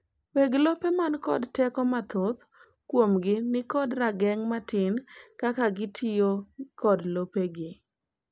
weg lope man kod teko mathoth kuomgi nikod rageng' matin kaka gitiyo kod lopegi